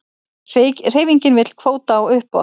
Hreyfingin vill kvóta á uppboð